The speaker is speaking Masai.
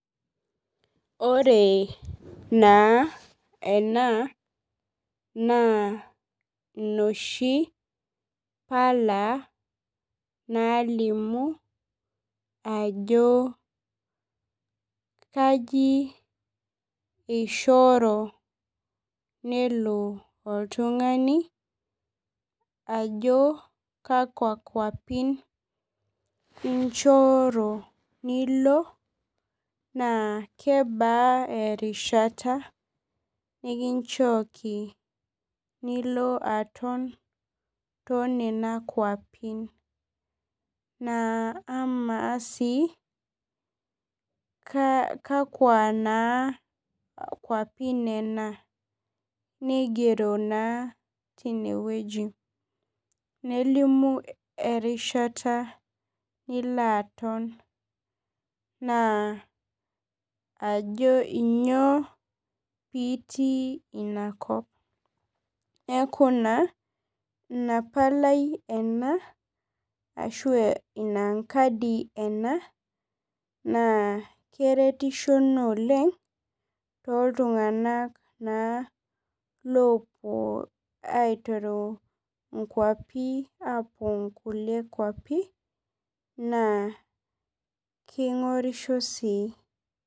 Ore naa ena naa noshi pala nalimu ajo kaji eishoro nelo oltung'ani ajo kakwa kuapin elo naa kebaa erishata nikinchoki nilo aton too nena kuapin. Na ama sii kakwaa naa kuapi nena nigoro sii tineweji. Nelimu erishata nilo aton naa ajo ainyoo pitii inakop. Neeku naa ina palai ena arashu ina kadi ena neeku na keretisho naa oleng' too iltung'ana naa lopuo aiteru inkuapi apuo kule kuapi . Naa keingorisho sii.